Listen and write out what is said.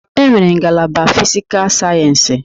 E nwere ngalaba Fisical Sayensi.